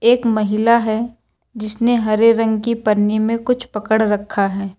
एक महिला है जिसने हरे रंग की पन्नी में कुछ पकड़ रखा है।